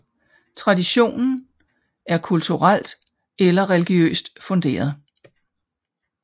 Traditionen er kulturel eller religiøst funderet